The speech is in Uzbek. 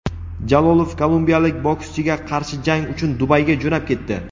Jalolov kolumbiyalik bokschiga qarshi jang uchun Dubayga jo‘nab ketdi.